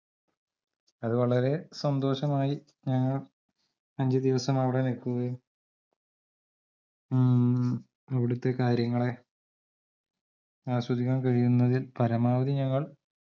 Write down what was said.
അതുവളരെ സന്തോഷമായി ഞങ്ങൾ അഞ്ചുദിവസം അവടെ നിക്കുകയും മ്മ് അവിടത്തെ കാര്യങ്ങളെ ആസ്വദിക്കാൻ കഴിയുന്നതിൽ പരമാവധി ഞങ്ങൾ